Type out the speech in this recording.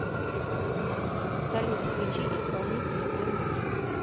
салют включи исполнителя бензи